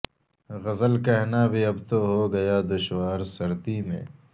غزل کہنا بھی اب تو ہوگیا دشوار سردی میں